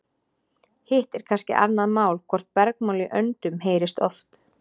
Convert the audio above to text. Hitt er kannski annað mál hvort bergmál í öndum heyrist oft.